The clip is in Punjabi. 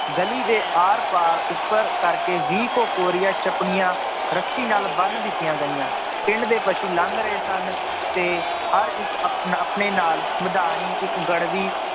ਗਲੀ ਦੇ ਆਰ ਪਾਰ ਉੱਪਰ ਕਰਕੇ ਵੀਹ ਕੁ ਕੋਰੀਆ ਚਪਲੀਆਂ ਰੱਸੀ ਨਾਲ ਬੰਨ੍ਹ ਦਿੱਤੀਆਂ ਗਈਆਂ, ਪਿੰਡ ਦੇ ਪਸੂ ਲੰਘ ਰਹੇ ਸਨ, ਤੇ ਹਰ ਇੱਕ ਆਪਣ ਆਪਣੇ ਨਾਲ ਮਦਾਣੀ ਇੱਕ ਗੜਬੀ